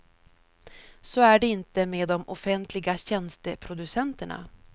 Så är det inte med de offentliga tjänsteproducenterna.